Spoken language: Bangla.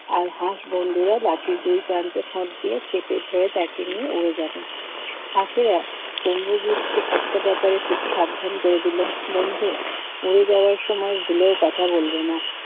আর হাঁস বন্ধুরা লাঠির দুই প্রান্তে ঠোঁট দিয়ে চেপে ধরে তাকে নিয়ে উড়ে যাবে। হাসেরা কুম্ভগ্রিত কে একটা ব্যাপারে খুব সাবধান করে দিল বন্ধু উড়ে যাওয়ার সময় ভুলেও কথা বলবে না।